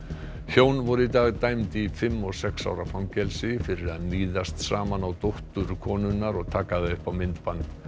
hjón voru í dag dæmd í fimm og sex ára fangelsi fyrir að níðast saman á dóttur konunnar og taka það upp á myndband